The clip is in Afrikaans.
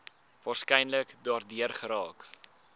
waarskynlik daardeur geraak